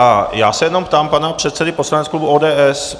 A já se jenom ptám pana předsedy poslaneckého klubu ODS.